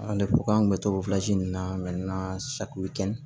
Ale ko k'an kun bɛ to nin na